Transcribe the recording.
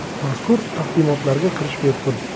Mazkur taqdimotlarga kirish bepul.